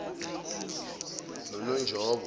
nononjobo